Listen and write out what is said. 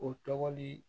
O tɔgɔ ni